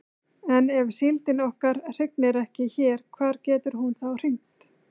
En ef síldin okkar hrygnir ekki hér hvar getur hún þá hrygnt?